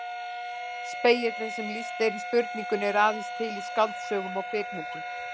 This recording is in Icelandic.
Spegillinn sem lýst er í spurningunni er aðeins til í skáldsögum og kvikmyndum.